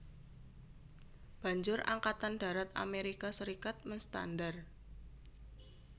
Banjur Angkatan Darat Amerika Serikat menstandar